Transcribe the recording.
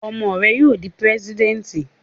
Ọmọ rẹ yóò dí President!